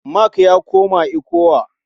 Mark ya koma ECWA.